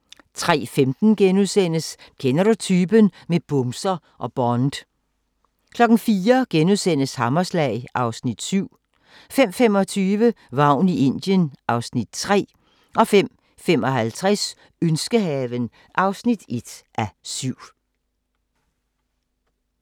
03:15: Kender du typen? - med bumser og Bond * 04:00: Hammerslag (Afs. 7)* 05:25: Vagn i Indien (Afs. 3) 05:55: Ønskehaven (1:7)